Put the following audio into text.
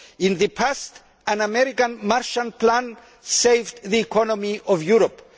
In the past, an American Marshall Plan saved the economy of Europe.